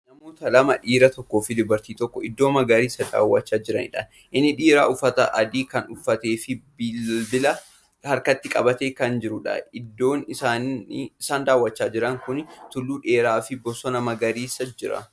Namoota lama dhiira tokkoofi dubartii tokko iddoo magariisa daaw'achaa jiranidha. inni dhiiraa uffata adii Kan uffateefi bilbilaa harkatti qabatee Kan jirudha. iddoon isaan daaw'achaa Jiran Kuni tulluu dheeraa fi bosona magariisatu Jira.